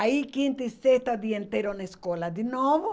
Aí quinta e sexta o dia inteiro na escola de novo.